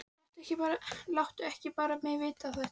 Láttu ekki bara mig vita þetta.